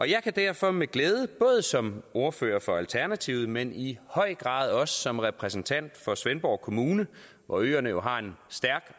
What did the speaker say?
jeg kan derfor med glæde både som ordfører for alternativet men i høj grad også som repræsentant for svendborg kommune hvor øerne jo har en stærk